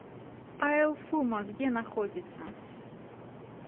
айлфумо где находится